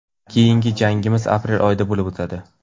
Keyingi jangimiz aprel oyida bo‘lib o‘tadi.